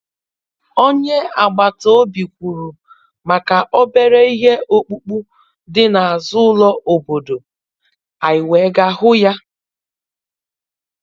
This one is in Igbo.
Onye agbata obi kwuru maka obere ihe ọkpụkpụ dị n'azụ ụlọ obodo, anyị wee gaa hụ ya.